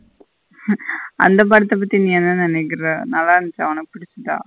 அந்த படத்த பத்தி நீ என்ன நெனைக்குற நல்ல இருந்துச்சா உனக்கு புடிச்சத.